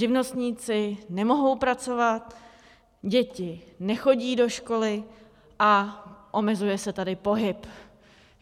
Živnostníci nemohou pracovat, děti nechodí do školy a omezuje se tady pohyb.